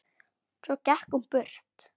Svo gekk hún burt.